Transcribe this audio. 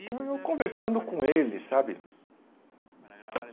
Então, eu conversando com ele, sabe?